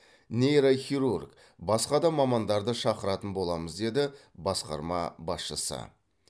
нейрохирург басқа да мамандарды шақыратын боламыз деді басқарма басшысы